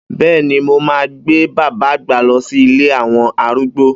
Bẹ́ẹ́ni, mo máa gbé bàbá àgbà lọ sí ilé àwọn arúgbó.